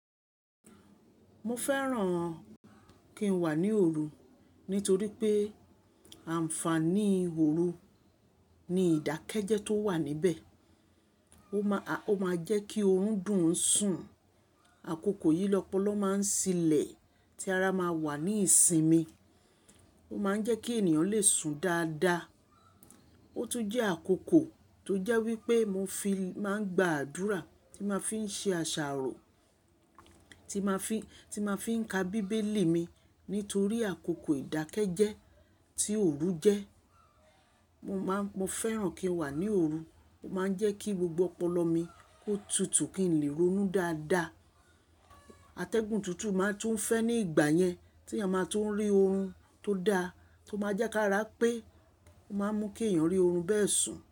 Mo fẹ́ràn kí n wà ní òru nítorí pé ànfàní òru ni ìdákẹ́jẹ́ tó wà níbẹ̀. Ó má Ó máa jẹ́ kí oorun dùn ń sùn. Àkókò yìí lọ́pọ̀lọ̀ máa ń silẹ̀ tí ara máa wà ní ìsinmi. Ó máa ń jẹ́ kí ènìyàn lè sun dáadáa. Ó tún jẹ́ àkókò tó jẹ́ wípé mo fi máa ń gba àdúrà tí máa ń fi ṣe àṣàrò, tí ma fi, tí ma fí ń ka bíbélì mi nítorí àkókò ìdákẹ́jẹ́ tí òru jẹ́. Mo máa ń mo fẹ́ràn kí n wà ní òru. Ó máa ń jẹ́ kí gbogbo ọpọlọ mi kó tutù kí n lè ronú dáadáa. Atẹ́gùn tútù máa tún fẹ́ ní ìgbà yẹn tí ẹ ma tó ń rí oorun tó da tó máa jẹ́ ká ara pé ó máa ń mú kí èèyàn rí oorun bẹ́ẹ̀ sùn.